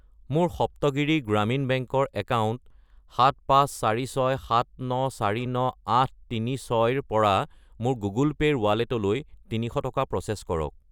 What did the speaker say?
মোৰ সপ্তগিৰি গ্ৰামীণ বেংক ৰ একাউণ্ট 75467949836 ৰ পৰা মোৰ গুগল পে' ৰ ৱালেটলৈ 300 টকা প্ৰ'চেছ কৰক।